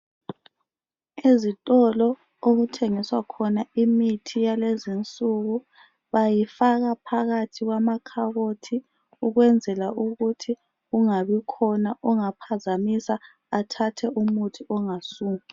Izitolo okuthengiswa khona imithi yalezinsuku bayifaka phakathi kwamakhabothi ukwenzela ukuthi kungabikhona ongaphazamisa athathe umuthi ongayisiwo.